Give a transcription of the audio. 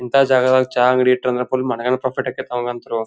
ಇಂಥ ಜಾಗದಲ್ಲಿ ಚಾ ಅಂಗಡಿ ಇಟ್ರ್ ಅಂತ ಅಂದ್ರ್ ಫುಲ್ಲ ಮನಗಂಡ ಪ್ರಾಫಿಟ್ ಆಗ್ತಾಯ್ತ್ ಅಂತಂದ್ರು.